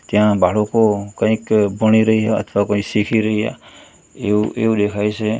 ત્યાં બાળકો કાંઈક ભણી રહ્યા અથવા કોઈ શીખી રહ્યા એવું એવું દેખાય છે.